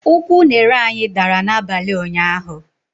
Ụkwụ unere anyị dara n'abalị ụnyaahụ